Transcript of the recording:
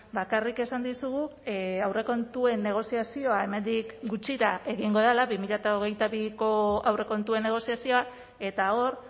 bakarrik esan dizugu aurrekontuen negoziazioa hemendik gutxira egingo dela bi mila hogeita biko aurrekontuen negoziazioa eta hor